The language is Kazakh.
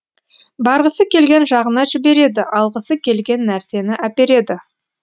барғысы келген жағына жібереді алғысы келген нәрсені әпереді